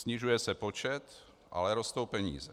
Snižuje se počet, ale rostou peníze.